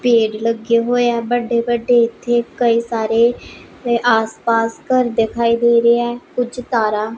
ਪੇੜ ਲੱਗੇ ਹੋਏ ਆ ਵੱਡੇ ਵੱਡੇ ਇੱਥੇ ਕਈ ਸਾਰੇ ਆਸ ਪਾਸ ਘਰ ਦਿਖਾਈ ਦੇ ਰਿਹਾ ਕੁਝ ਤਾਰਾ--